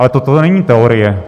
Ale toto není teorie.